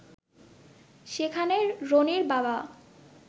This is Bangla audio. সেখানে রনির বাবা